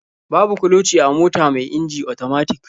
Babu kloci a mota mai inji otomatik.